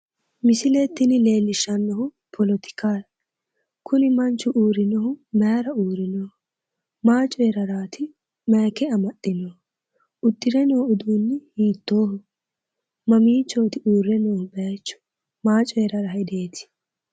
misile tini leellishshannohu politikaati, kuni manchu uurrinohu maayra uurrinohu? maa coyraarati aayike amaxxe noohu? uddire no uduunni hiittoho? mamiichooti uurre noohu bayiichu? maa coyrara hedeeti?